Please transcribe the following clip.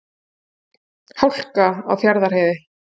Hálka á Fjarðarheiði